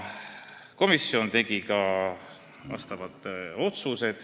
Komisjon tegi ka menetluslikud otsused.